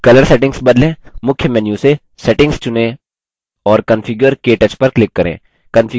मुख्य menu से settings चुनें और configure – ktouch पर click करें